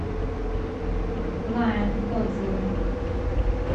лайон отзывы